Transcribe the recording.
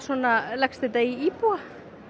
leggst þetta í íbúa